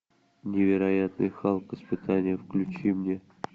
невероятный халк испытание включи мне